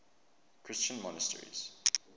christian monasteries